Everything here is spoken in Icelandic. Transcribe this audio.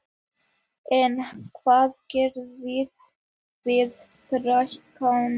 En hvað gerðirðu við frakkann?